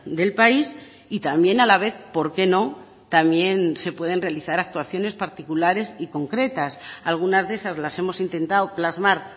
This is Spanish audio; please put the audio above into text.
del país y también a la vez por qué no también se pueden realizar actuaciones particulares y concretas algunas de esas las hemos intentado plasmar